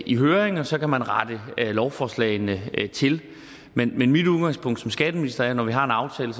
i høring og så kan man rette lovforslagene til men mit udgangspunkt som skatteminister er at når vi har en aftale